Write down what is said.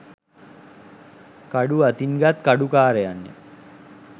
කඩු අතින් ගත් කඩුකාරයන් ය.